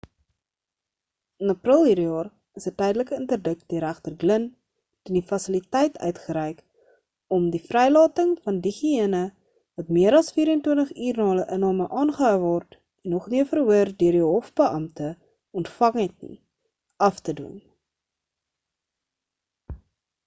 in april hierdie jaar is 'n tydelike inderdik deur regter glynn teen die fasiliteit uitgereik om die vrylating van diegene wat meer as 24 uur na hulle inname aangehou word en nog nie 'n verhoor deur die hofbeampte ontvang het nie af te dwing